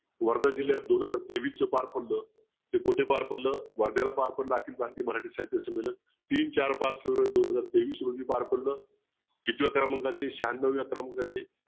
वर्धा जिल्यात दोन हजार तेवीसच पार पडलं ते कुठे पार पडलं वर्ध्याला पार पडलं अखिल भारतीय मराठी साहित्य संमीलन तीन चार पाच फेब्रुवारी दोन हजार तेवीस रोजी पार पडलं कितव्या क्रमांकाचे शहान्नव्या क्रमांकाचे